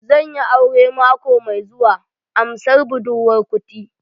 Zan yi aure mako mai zuwa, amsar budurwar kuti